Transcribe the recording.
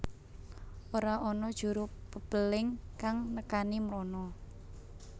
Ora ana juru pepéling kang nekani mrono